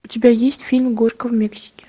у тебя есть фильм горько в мексике